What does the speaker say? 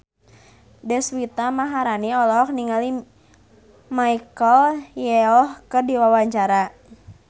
Deswita Maharani olohok ningali Michelle Yeoh keur diwawancara